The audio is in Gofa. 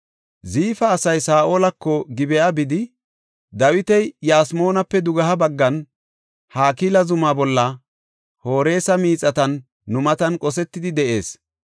Ziifa asay Saa7olako Gib7a bidi, “Dawiti Yasmoonape dugeha baggan, Hakila zuma bolla Horesa miixatan nu matan qosetidi de7ees.